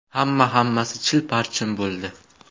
Hamma-hammasi chil-parchin bo‘ldi”.